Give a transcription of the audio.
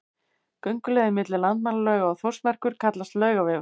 Gönguleiðin milli Landmannalauga og Þórsmerkur kallast Laugavegur.